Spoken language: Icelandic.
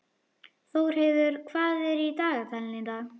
Þórheiður, hvað er í dagatalinu í dag?